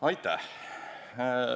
Aitäh!